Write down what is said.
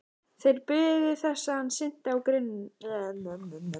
Þeir biðu þess hann synti á grynningar.